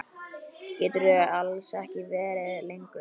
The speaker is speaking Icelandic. Geturðu alls ekki verið lengur?